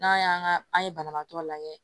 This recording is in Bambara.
N'an y'an ka an ye banabaatɔ lajɛ